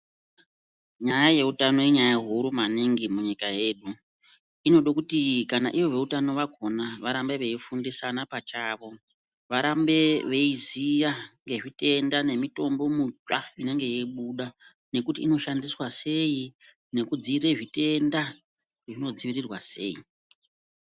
Nyaya yeutano inyaya huru maningi munyika yedu. Inodakuti kana ivo veutano vakona veifundisana pachavo varambe veiziya ngemitombo mutsva inonga yeibuda. Ngekuti inoshandiswa sei nekudzirira zvitenda kuti zvinodzivrirwa sei.